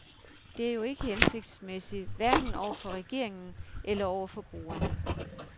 Det er jo ikke hensigtsmæssigt, hverken over for regeringen eller over for brugerne.